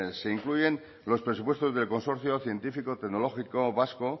se incluyen los presupuestos del consorcio científico tecnológico vasco